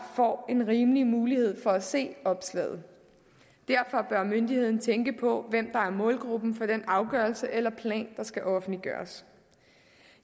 får en rimelig mulighed for at se opslaget derfor bør myndigheden tænke på hvem der er målgruppen for den afgørelse eller plan der skal offentliggøres